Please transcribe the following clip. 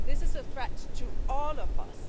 this is a threat to all of us.